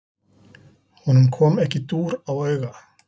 Honum kom ekki dúr á auga.